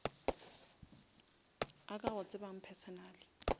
a ka go tsebang personally